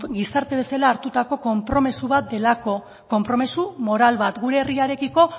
gizarte bezala hartutako konpromezu bat delako konpromezu moral bat gure herriarekiko